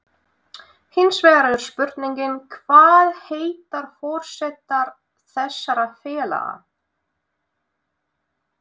Hinsvegar er spurningin, hvað heitar forsetar þessara félaga?